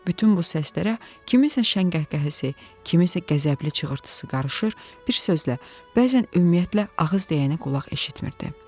Bütün bu səslərə kimsənin şəngəhqəhəsi, kimsənin qəzəbli çığırtısı qarışır, bir sözlə, bəzən ümumiyyətlə ağız deyəni qulaq eşitmirdi.